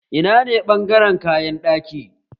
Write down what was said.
Ina ne ɓangaren kayan ɗaki?